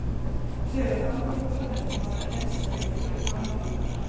Þegar þangað var komið var kennsla í fullum gangi þar.